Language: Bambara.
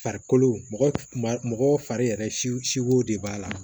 Farikolo kuma mɔgɔ fari yɛrɛ siko de b'a la